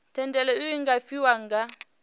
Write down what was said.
thendelo iu nga fhiwa nga